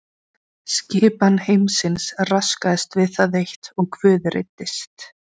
Skipan heimsins raskaðist við það eitt og Guð reiddist.